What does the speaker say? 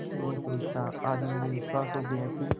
कुछ नहीं सूझता आज मुझे विश्वास हो गया कि